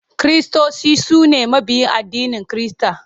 Kiristoci su ne mabiya addinin Kirista.